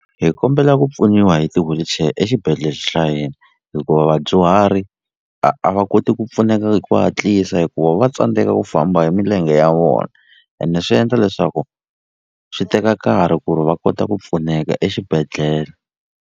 Hi kombela ku pfuniwa hi ti-wheelchair exibedhlele hina hikuva vadyuhari a a va koti ku pfuneka hi ku hatlisa hikuva va tsandzeka ku famba hi milenge ya vona ene swi endla leswaku swi teka nkarhi ku ri va kota ku pfuneka exibedhlele.